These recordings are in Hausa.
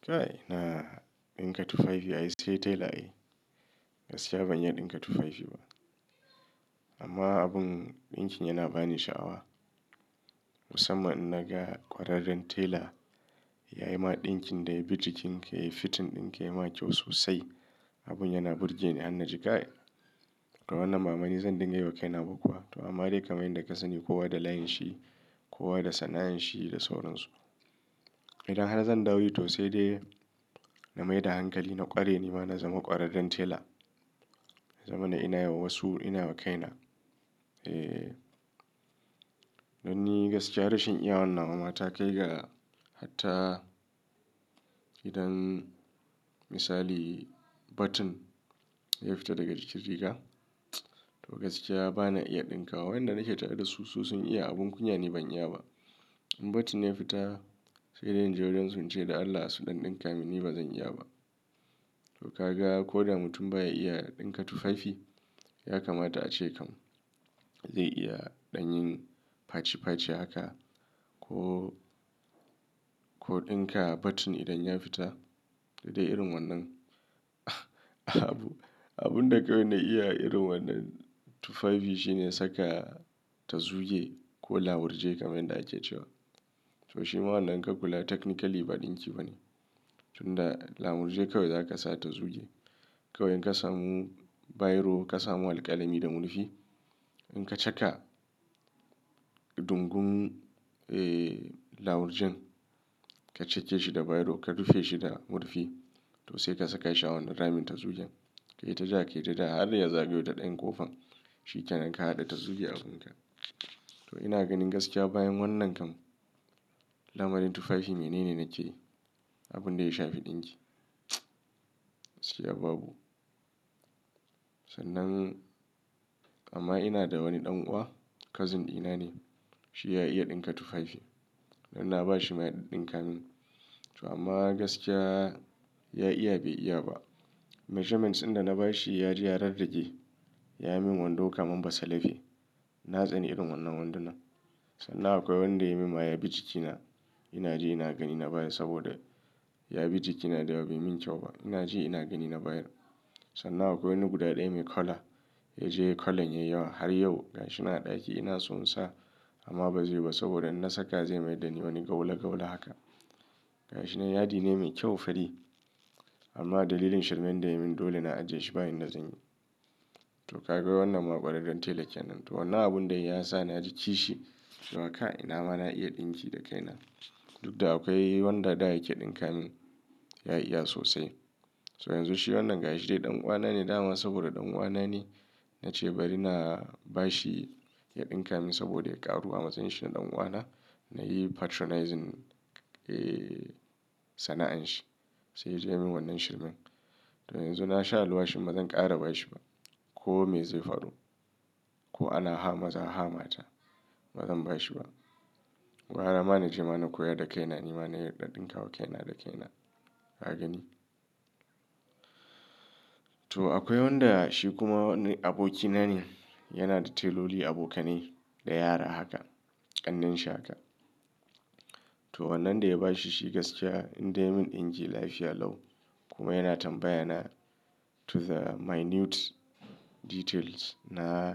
Kai ina dinka tufafi, ai sai tela ai. Gaskiya ban iya dinka tufafi ba. Amma abun ɗinkin yana bani sha'awa. Musamman in na ga ƙwararren tela ya yi ma ɗinkin da ya bi jikin ka yai fitin ɗin ka ya ma kyau sosai. Abun yana burge ni han naji, kai. To wannan bama ni zan dinga yi wa kaina ba kuwa. To amma dai kaman yanda kasani kowa da layin shi, kowa da sana'an shi da sauran su. Idan har zan ɗau yi to sai dai na mai da hankali na ƙware ni ma na zama ƙwararren tela. Ya zama na ina yi wa wasu, ina yi wa kaina. Eee, dan ni gaskiya rashin iyawan nawa ma ta kai ga hatta idan misali button ya fita daga jikin riga, to gaskiya ba na iya ɗinkawa. Wanda nake tare da su, su sun iya. Abun kunya nu ban iya ba. In button ne ya fita, sai dai in je wajen su ince da Allah su ɗan ɗinka min, ni ba zan iya ba. To ka ga ko da mutum ba ya iya dinka tufafi, ya kamata a ce kam zai iya ɗanyin faci faci haka ko, ko ɗinka button idan ya fita. Da dai irin wannan abu, abun da kawai na iya irin wannan tufafi shine saka tazuge ko lamurje kaman yanda ake cewa. To shi ma wannan ka kula technically ba ɗinki ba ne. Tun da lamurje kawai za ka sa tazuge. Kawai in ka samu biro, ka samu alƙalami da murfi, in ka caka dungun, ee, lamurjen ka cake shi da biro ka rufe shi da murfi to sai ka saka shi a wannan ramin tazugen. Kai ta ja kai ta ja, har ya zagayo ta ɗayan kofan. Shi ke nan ka haɗa tazuge abun ka. To ina ganin gaskiya bayan wannan kam lamarin tufafi mene ne nake yi? Abun da ya shafi ɗinki. Gaskiya babu. Sannan amma ina da wani ɗan uwa, cousin dina ne. Shi ya iya dinka tufafi. Dan na ba shi ma ya ɗiddinka min. To amma gaskiya ya iya, bai iya ba. Measurements in da na ba shi ya ji ya rarrage. Ya yi min wando kamar ba salafi. Na tsani irin wannan wanduna. Sannan akwai wanda ya yi min ma ya bi jikina. Ina ji ina gani na baya saboda ya bi jikina da ba yi min kyau ba. Ina ji ina gani na baya. Sannan akwai wani guda ɗaya mai color, ya je colorn yai yawa har yau gashina a ɗaki ina son sa amma ba zai yi ba saboda in na saka zai mayar da ni wani gawulagawula haka. Gashinan yadi ne mai kyau fari. Amma dalilin shirmen da ya yi min dole na ajiye shi ba yanda zan yi. To ka ga wannan ma ƙwararren tela kenan. To wannan abun dai ya sa na ji kishi cewa ka ina ma na iya ɗinki da kaina. Duk da akwai wanda da yake ɗinka mi, ya iya sosai. To yanzu shi wannan gashi dai ɗan uwana ne dama saboda ɗan uwana ne na ce bari na ba shi ya ɗinka min saboda ya ƙaruwa. Ma tsayin shi na ɗan uwana. Na yi patronizing, ee, sana'an shi. Sai ya je ya yi min wannan shirmen. To yanzu na sha aluwashin ba zan ƙara ba shi ba. Ko me zai faru. Ko ana hama, za a hamata. Ba zan ba shi ba. Wa har ama na ji ma na koya da kaina. Ni ma na yarda ɗinka wa kaina da kaina. Na gani. To akwai wanda shi kuma wani aboki na ne. Yana da teloli abokanai da yara haka. Ƙannen shi haka. To wannan dai ya ba shi, shi gaskiya in dai mun dinki lafiya lau kuma yana tambaya na to the minute details na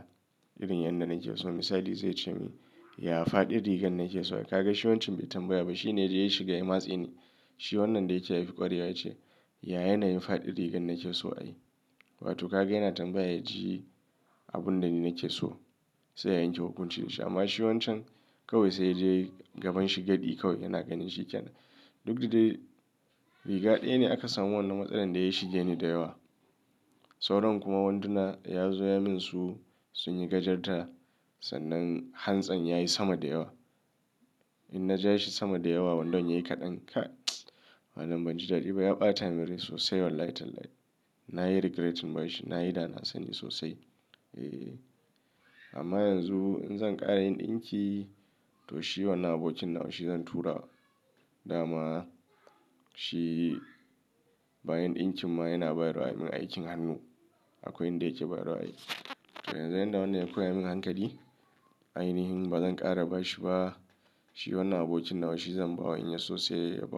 irin yadda nake so. Misali zai ce min, "Ya faɗi rigar nake so a yi." Ka ga shi wancan bai tambaya ba. Shi ne da ya shiga ya matsa ni. Shi wannan dai yake haifi ƙwarewa ce. Ya yana yin faɗi rigar nake so a yi. Watu ka ga yana tambaya ji abun da ni nake so sai ya yanke hukunchi shi. Amma shi wancan kawai sai dai gaban shi gadi kawai yana ganin shi ke nan. Duk da dai riga ɗaya ne aka samu wannan matsaran da ya shige ni da yawa. Sauran kuma wanduna ya zo ya min su, sun yi gajarta sannan hansan ya yi sama da yawa. In na ja shi sama da yawa, wandan yayi kaɗan ka. Wannan ban ji daɗi ba. Ya ɓata min rai sosai wallahi talahi. Na yi regret ba shi. Na yi dana sani sosai. Eee, amma yanzu in zan ƙara yin ɗinki to shi wannan abokin nawa shi zan tura. Dama shi bayan ɗinkin ma yana bai wa rai min aikin hannu. Akwai inda yake bai wa rai. To yanzu inda wannan yake koya min hankali, ainihin ba zan ƙara ba shi ba. Shi wannan abokin nawa shi zan ba wa in ya sosai yayi babu.